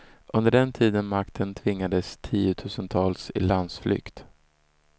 Under den tiden makten tvingades tiotusentals i landsflykt.